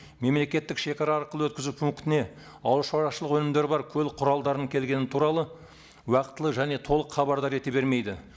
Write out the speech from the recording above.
мемлекеттік шегара арқылы өткізу пунктіне ауыл шаруашылық өнімдері бар көлік құралдарының келгені туралы уақытылы және толық хабардар ете бермейді